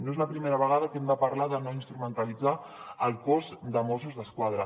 no és la primera vegada que hem de parlar de no instrumentalitzar el cos de mossos d’esquadra